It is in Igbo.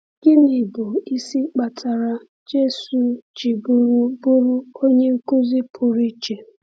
Gịnị bụ isi kpatara Jésù ji bụrụ bụrụ onye nkuzi pụrụ iche?